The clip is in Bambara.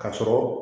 Ka sɔrɔ